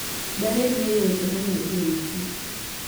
Daher ng'eyo weche momedore e wikich